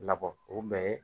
Labɔ o bɛɛ ye